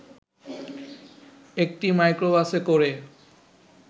একটি মাইক্রোবাসে করে